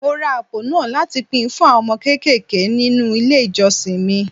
Mo ra àpò náà láti pín fún àwọn ọmọ kéékèèké nínú ilé ìjọsìn mi.